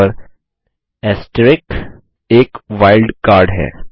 और एक wild card है